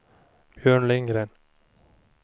Björn Lindgren